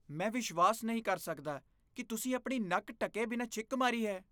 ਮੈਂ ਵਿਸ਼ਵਾਸ ਨਹੀਂ ਕਰ ਸਕਦਾ ਕਿ ਤੁਸੀਂ ਆਪਣੀ ਨੱਕ ਢੱਕੇ ਬਿਨਾਂ ਛਿੱਕ ਮਾਰੀ ਹੈ।